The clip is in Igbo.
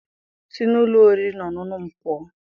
Si n'ụlọ oriri na ọṅụṅụ m pụọ!